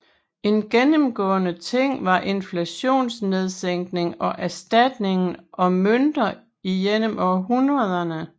En gennemgående ting var inflationsnedskæring og erstatningen af mønter igennem århundrederne